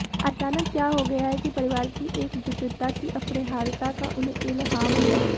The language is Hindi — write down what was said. अचानक क्या हो गया है कि परिवार की एकजुटता की अपरिहार्यता का उन्हें इल्हाम हुआ